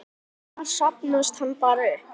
Annars safnast hann bara upp.